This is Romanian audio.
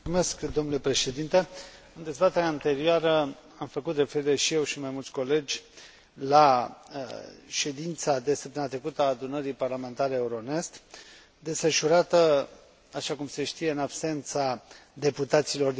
În dezbaterea anterioară am făcut referire, și eu, și mai mulți colegi, la ședința de săptămâna trecută a Adunării parlamentare Euronest, desfășurată, așa cum se știe, în absența deputaților din Belarus.